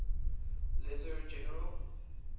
lesser general